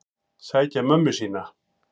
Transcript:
Sækja mömmu sína.